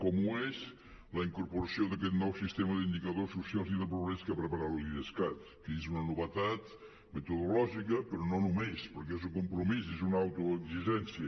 com ho és la incorporació d’aquest nou sistema d’indicadors socials i de progrés que ha preparat l’idescat que és una novetat metodològica però no només perquè és un compromís és una autoexigència